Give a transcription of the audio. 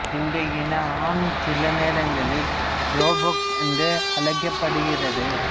இந்த இன ஆண் சில நேரங்களில் ரோபக் என்று அழைக்கப்படுகிறது